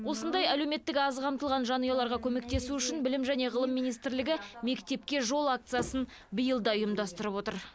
осындай әлеуметтік аз қамтылған жанұяларға көмектесу үшін білім және ғылым министрлігі мектепке жол акциясын биыл да ұйымдастырып отыр